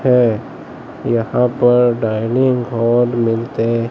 है यहां पर डाइनिंग हॉल मिलते--